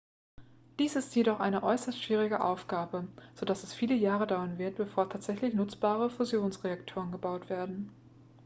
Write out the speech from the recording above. dies ist jedoch eine äußerst schwierige aufgabe so dass es viele jahre dauern wird bevor tatsächlich nutzbare fusionsreaktoren gebaut werden